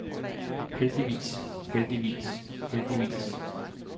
heldigvis heldigvis heldigvis